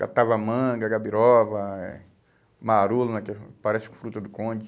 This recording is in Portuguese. Catava manga, gabirova, eh marulo, que parece com fruta do conde.